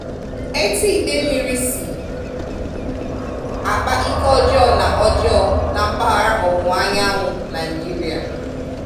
Etu idemmiri si akpa ike ọjọọ na ọjọọ na mpaghara Ọwụwa Anyanwụ Naịjirịa